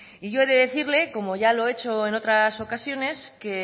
y yo he de decirle como ya lo he hecho en otras ocasiones que